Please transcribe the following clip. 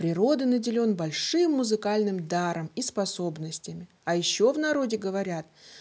природы наделён большим музыкальным даром и способностями а ещё в народе говорят